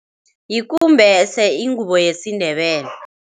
Yikumbese, ingubo yesiNdebele.